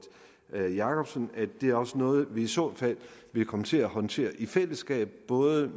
jakobsen at det også er noget vi i så fald vil komme til at håndtere i fællesskab både